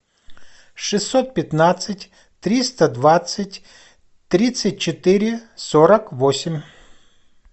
шестьсот пятнадцать триста двадцать тридцать четыре сорок восемь